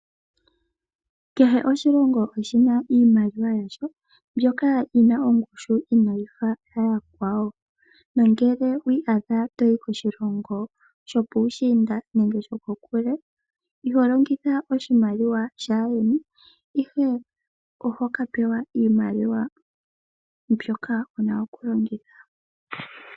Kehe oshilongo oshina iimaliwa yasho mbyoka yina ongushu inayi fa yiimaliwa yokoshilongo shimwe. Nongele owi iyadha toyi koshilongo shimwe shokokule iho longitha oshimaliwa shaandjeni, ihe ohoka pewa iimaliwa mbyoka wuna okulongitha.